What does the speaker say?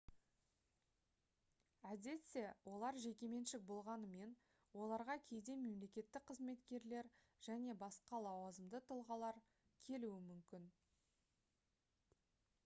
әдетте олар жекеменшік болғанымен оларға кейде мемлекеттік қызметкерлер және басқа лауазымды тұлғалар келуі мүмкін